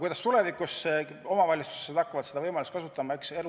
Kuidas tulevikus hakkavad omavalitsused seda võimalust kasutama?